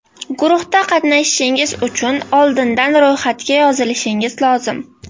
Guruhda qatnashishingiz uchun oldindan ro‘yxatga yozilishingiz lozim.